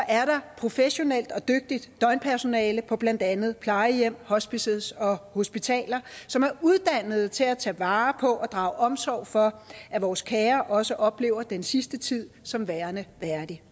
er der professionelt og dygtigt døgnpersonale på blandt andet plejehjem hospices og hospitaler som er uddannet til at tage vare på og drage omsorg for at vores kære også oplever den sidste tid som værende værdig